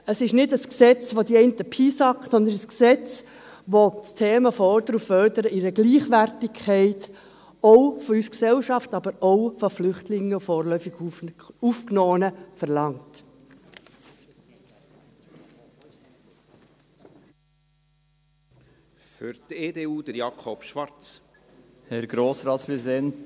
Es ist nicht ein Gesetz, das die einen piesackt, sondern es ist ein Gesetz, bei dem die Themen Fordern und Fördern in einer Gleichwertigkeit, auch von uns als Gesellschaft, aber auch von Flüchtlingen und vorläufig Aufgenommenen verlangen.